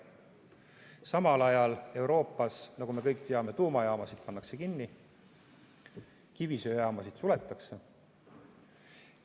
Samal ajal Euroopas, nagu me kõik teame, pannakse tuumajaamasid kinni, kivisöejaamasid suletakse.